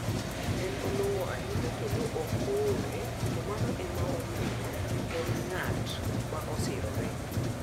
"En olong'o ahinya kendook okoore, to mano ema omiyo en ng'at ma osirore."